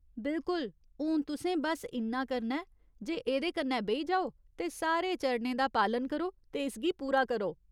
बिल्कुल ! हून तुसें बस्स इन्ना करना ऐ जे एह्दे कन्नै बेही जाओ ते सारे चरणें दा पालन करो ते इसगी पूरा करो।